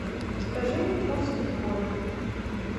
скажи мне курс биткоина